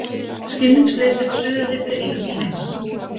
Skilningsleysið suðaði fyrir eyrum Sveins.